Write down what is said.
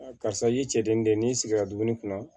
karisa i y'i cɛden den n'i sigira dumuni kunna